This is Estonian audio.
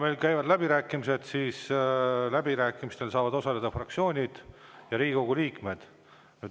Meil käivad läbirääkimised ning läbirääkimistel saavad osaleda fraktsioonid ja Riigikogu liikmed.